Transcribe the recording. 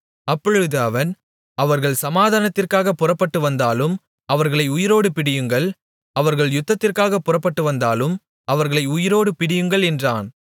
அப்பொழுது அவன் அவர்கள் சமாதானத்திற்காகப் புறப்பட்டு வந்தாலும் அவர்களை உயிரோடு பிடியுங்கள் அவர்கள் யுத்தத்திற்காகப் புறப்பட்டு வந்தாலும் அவர்களை உயிரோடு பிடியுங்கள் என்றான்